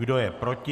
Kdo je proti?